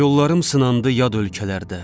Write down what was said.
Yollarım sınandı yad ölkələrdə.